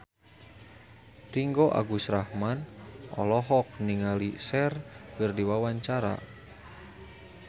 Ringgo Agus Rahman olohok ningali Cher keur diwawancara